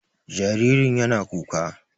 Jaririn yaro na kuka.